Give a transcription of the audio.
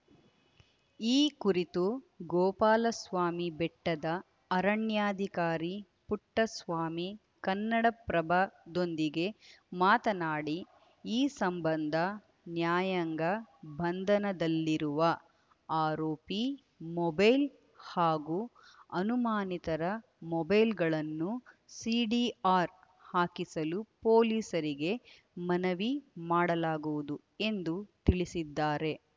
ಈ ಕುರಿತು ಗೋಪಾಲಸ್ವಾಮಿ ಬೆಟ್ಟದ ಅರಣ್ಯಾಧಿಕಾರಿ ಪುಟ್ಟಸ್ವಾಮಿ ಕನ್ನಡಪ್ರಭದೊಂದಿಗೆ ಮಾತನಾಡಿ ಈ ಸಂಬಂಧ ನ್ಯಾಯಾಂಗ ಬಂಧನದಲ್ಲಿರುವ ಆರೋಪಿ ಮೊಬೈಲ್‌ ಹಾಗೂ ಅನುಮಾನಿತರ ಮೊಬೈಲ್‌ಗಳನ್ನು ಸಿಡಿಆರ್‌ ಹಾಕಿಸಲು ಪೊಲೀಸರಿಗೆ ಮನವಿ ಮಾಡಲಾಗುವುದು ಎಂದು ತಿಳಿಸಿದ್ದಾರೆ